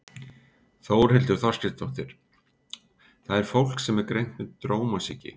Þórhildur Þorkelsdóttir: Það er fólk sem er greint með drómasýki?